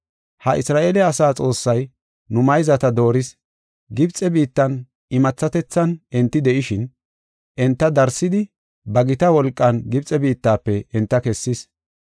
Ha Isra7eele asaa Xoossay nu mayzata dooris. Gibxe biittan imathatethan enti de7ishin, enta darsidi ba gita wolqan Gibxe biittafe enta kessis.